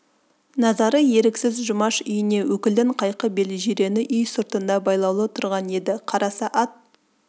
назары еріксіз жұмаш үйіне өкілдің қайқы бел жирені үй сыртында байлаулы тұрған еді қараса ат